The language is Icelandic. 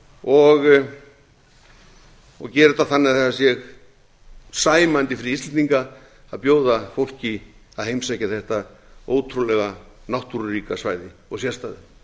og gera þetta þannig að það sé sæmandi fyrir íslendinga að bjóða fólki að heimsækja þetta ótrúlega náttúruríka svæði og sérstæða